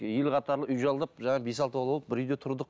ел қатарлы үй жалдап жаңағы бес алты бала болып бір үйде тұрдық